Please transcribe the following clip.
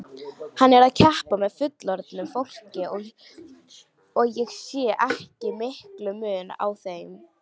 Hann er að keppa með fullorðnu fólki og ég sé ekki mikinn mun á þeim.